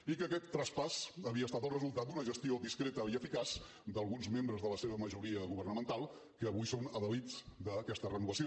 i que aquest traspàs havia estat el resultat d’una gestió discreta i eficaç d’alguns membres de la seva majoria governamental que avui són adalils d’aquesta renovació